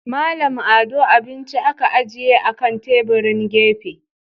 Mallam Ado abinci aka ajiye akan tebirin gefe.